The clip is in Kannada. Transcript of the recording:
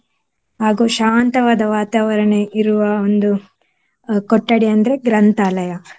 ಹಾಗು ಶಾಂತವಾದ ವಾತಾವರಣ ಇರುವ ಒಂದು ಅಹ್ ಕೊಠಡಿ ಅಂದ್ರೆ ಗ್ರಂಥಾಲಯ.